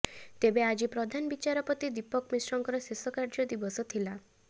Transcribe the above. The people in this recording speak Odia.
ତେବେ ଆଜି ପ୍ରଧାନ ବିଚାରପତି ଦୀପକ ମିଶ୍ରଙ୍କର ଶେଷ କାର୍ଯ୍ୟ ଦିବସ ଥିଲା